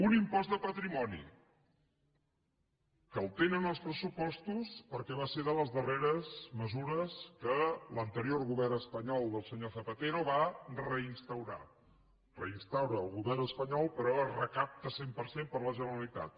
un impost de patrimoni que el tenen els pressupostos perquè va ser de les darreres mesures que l’anterior govern espanyol del senyor zapatero va reinstaurar el reinstaura el govern espanyol però es recapta cent per cent per la generalitat